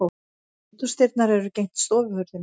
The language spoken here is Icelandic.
Eldhúsdyrnar eru gegnt stofuhurðinni.